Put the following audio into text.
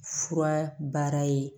Fura baara ye